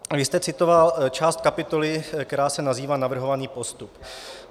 Vy jste citoval část kapitoly, která se nazývá Navrhovaný postup.